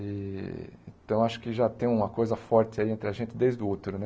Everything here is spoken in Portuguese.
E então, acho que já tem uma coisa forte aí entre a gente desde o útero, né?